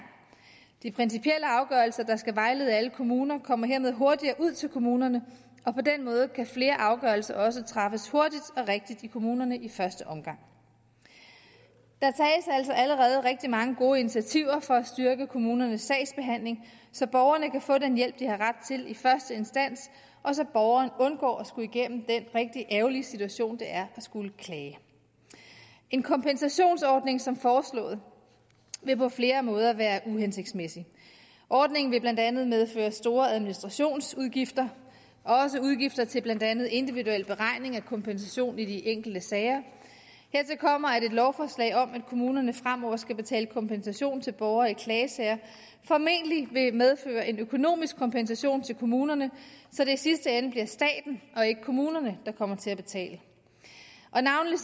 de principielle afgørelser der skal vejlede alle kommuner kommer hermed hurtigere ud til kommunerne og på den måde kan flere afgørelser også træffes hurtigt og rigtigt i kommunerne i første omgang der tages altså allerede rigtig mange gode initiativer for at styrke kommunernes sagsbehandling så borgerne kan få den hjælp de har ret til i første instans og så borgerne undgår at skulle igennem den rigtig ærgerlige situation det er at skulle klage en kompensationsordning som foreslået vil på flere måder være uhensigtsmæssig ordningen vil blandt andet medføre store administrationsudgifter også udgifter til blandt andet individuel beregning af kompensationen i de enkelte sager hertil kommer at et lovforslag om at kommunerne fremover skal betale kompensation til borgere i klagesager formentlig vil medføre en økonomisk kompensation til kommunerne så det i sidste ende bliver staten og ikke kommunerne der kommer til at betale og navnlig